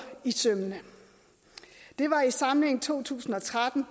i sømmene det var i samlingen to tusind og tretten